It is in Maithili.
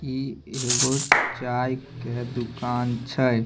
ई एगो चाय के दुकान छै।